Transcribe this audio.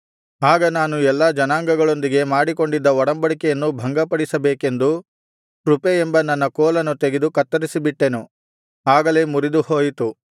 ಆಗ ನಾನು ಎಲ್ಲಾ ಜನಾಂಗಗಳೊಂದಿಗೆ ಮಾಡಿಕೊಂಡಿದ್ದ ಒಡಂಬಡಿಕೆಯನ್ನು ಭಂಗಪಡಿಸಬೇಕೆಂದು ಕೃಪೆ ಎಂಬ ನನ್ನ ಕೋಲನ್ನು ತೆಗೆದು ಕತ್ತರಿಸಿಬಿಟ್ಟೆನು ಆಗಲೇ ಮುರಿದುಹೋಯಿತು